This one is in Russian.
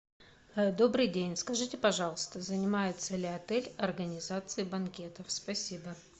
добрый день скажите пожалуйста занимается ли отель организацией банкетов спасибо